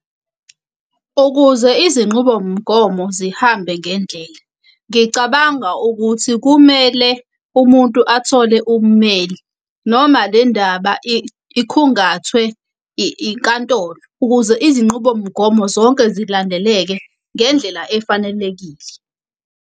Ukuze izinqubomgomo zihambe ngendlela, ngicabanga ukuthi kumele umuntu athole ummeli. Noma le ndaba ikhungathwe inkantolo. Ukuze izinqubomgomo zonke zilandeleke ngendlela efanelekile.